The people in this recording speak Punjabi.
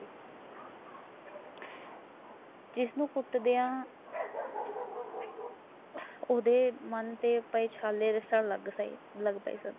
ਜਿਸਨੂੰ ਪੁੱਤ ਬੁਲਾਓ ਊਦੇ ਮਨ ਤੇ ਕਹੀ ਛਾਲੇ ਜੈਸਾ ਲੱਗਦਾ ਸਬ